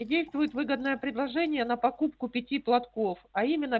и действует выгодное предложение на покупку пяти платков а именно